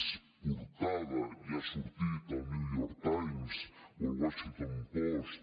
és portada i ha sortit al new york times o al washington post